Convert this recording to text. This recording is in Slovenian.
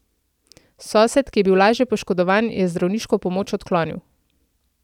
Sosed, ki je bil lažje poškodovan, je zdravniško pomoč odklonil.